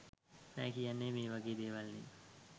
නෑ කියන්නෙ මේ වගේ දේවල් නේ.